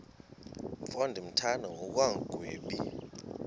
mfo ndimthanda ngokungagwebi